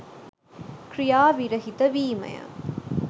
ක්‍රියා විරහිත වීම ය.